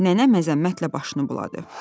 Nənə məzəmmətlə başını buladı.